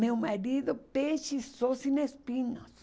Meu marido, peixe só sem espinhos.